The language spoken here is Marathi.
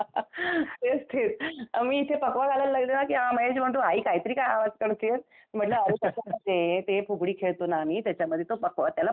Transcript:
तेच तेच मी इथे फकवा घालायला लागले ना की हा महेश म्हणतो आई काहीतरी काय आवाज काढतीयेस? म्हंटलं अरे तसं नाही ते फुगडी खळतो ना आम्ही, त्याच्यामध्ये तो त्याला फकवा म्हणतात.